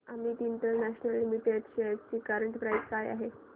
Amit international limited shares ची current price काय आहे